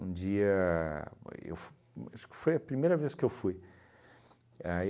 dia, eu f uhn acho que foi a primeira vez que eu fui. Aí